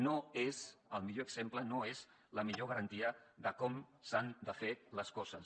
no és el millor exemple no és la millor garantia de com s’han de fer les coses